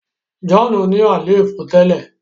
John ní àléfọ tẹlẹ.